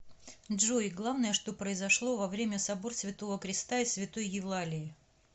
джой главное что произошло во время собор святого креста и святой евлалии